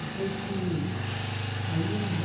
Eu sei que aí eu já...